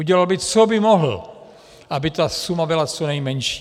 Udělal by, co by mohl, aby ta suma byla co nejmenší.